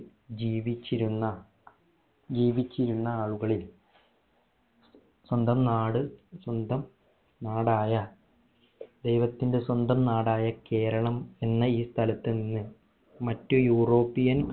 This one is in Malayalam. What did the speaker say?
ജീവിച്ചിരുന്ന ജീവിച്ചിരുന്ന ആളുകളിൽ സ്വന്തം നാട് സ്വന്തം നാടായ ദൈവത്തിന്റെ സ്വന്തം നാടായ കേരളം എന്ന ഈ സ്ഥലത്തു നിന്ന് മറ്റ് europian